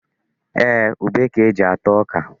Ee, ube ka e ji ata ọka.